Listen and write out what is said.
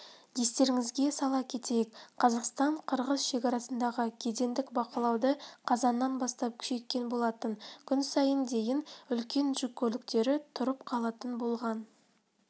естеріңізге сала кетейік қазақстан қырғыз шекарасындағы кедендік бақылауды қазаннан бастап күшейткен болатын күн сайын дейін үлкен жүк көліктері тұрып қалатын болған